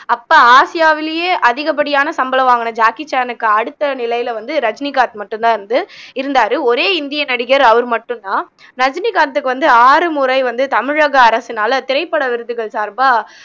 அப்போ ஆசியாவிலேயே அதிகப்படியான சம்பளம் வாங்குன ஜாக்கி சான்னுக்கு அடுத்த நிலையில வந்து ரஜினிகாந்த் மட்டும் தான் வந்து இருந்தாரு ஒரே இந்திய நடிகர் அவரு மட்டும் தான் ரஜினிகாந்துக்கு வந்து ஆறு முறை வந்து தமிழக அரசுனால திரைப்பட விருதுகள் சார்பா